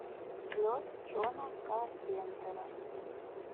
лед джона карпентера